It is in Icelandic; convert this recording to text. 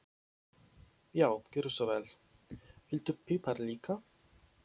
Já, gjörðu svo vel. Viltu pipar líka?